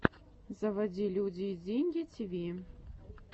заводи люди и деньги тиви